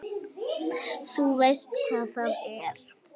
Þú veist hvar það er?